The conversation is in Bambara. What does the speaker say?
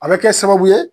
A bɛ kɛ sababu ye